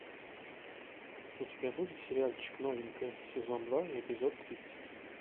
у тебя будет сериальчик новенькая сезон два эпизод тридцать